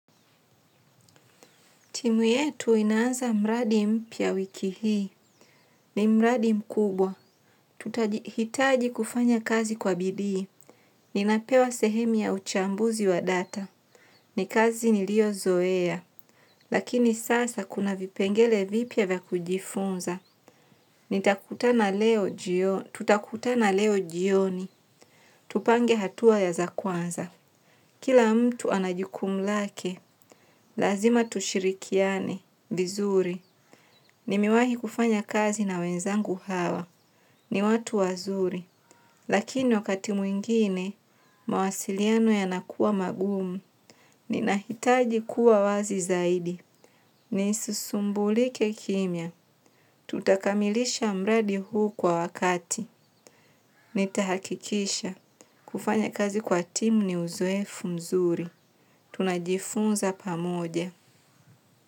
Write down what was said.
Timu yetu inaanza mradi mpya wiki hii. Ni mradi mkubwa. Hitaji kufanya kazi kwa bidii. Ninapewa sehemu ya uchambuzi wa data. Ni kazi niliyo zoea. Lakini sasa kuna vipengele vipya vya kujifunza. Tutakutana leo jioni. Tutakutana leo jioni. Tupange hatua ya za kwanza. Kila mtu ana jukumu lake. Lazima tushirikiani. Vizuri. Nimewahi kufanya kazi na wenzangu hawa. Ni watu wazuri. Lakini wakati mwingine, mawasiliano yanakuwa magumu. Ninahitaji kuwa wazi zaidi. Nisisumbulike kimya. Tutakamilisha mradi huu kwa wakati. Nitahakikisha. Kufanya kazi kwa timu ni uzoefu mzuri. Tunajifunza pamoja.